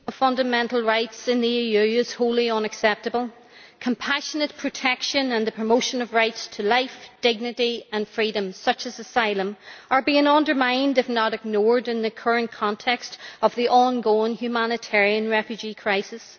Mr President, the situation of fundamental rights in the EU is wholly unacceptable. Compassionate protection and the promotion of rights to life, dignity and freedoms, such as asylum, are being undermined, if not ignored, in the current context of the ongoing humanitarian refugee crisis.